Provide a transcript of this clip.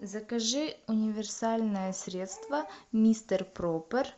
закажи универсальное средство мистер проппер